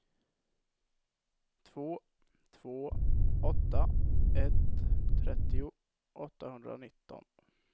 två två åtta ett trettio åttahundranitton